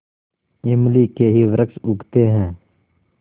इमली के ही वृक्ष उगते हैं